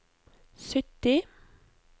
sytti